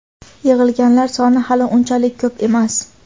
Yig‘ilganlar soni hali unchalik ko‘p emas.